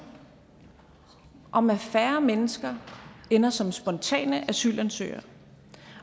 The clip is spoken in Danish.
om at færre mennesker ender som spontane asylansøgere